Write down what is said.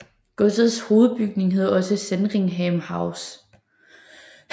Godsets hovedbygning hedder også Sandringham House